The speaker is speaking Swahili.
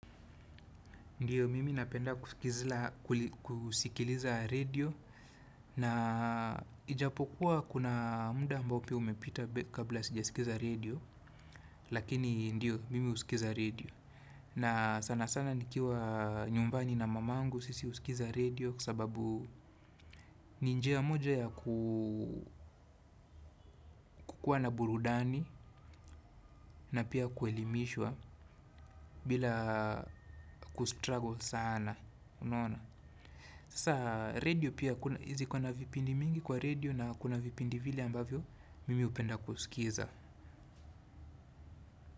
Ndiyo mimi napenda kusikiliza radio na ijapokuwa kuna muda ambao ukiwa umepita kabla sijasikiliza radio lakini ndiyo mimi husikiliza redio na sana sana nikiwa nyumbani na mama yangu sisi husikiliza redio sababu ni njia moja ya kukuwa na burudani na pia kuelimishwa bila kustruggle sana unaona. Sasa redio pia kuna vipindi mingi kwa redio na kuna vipindi vile ambavyo mimi hupenda kusikiliza.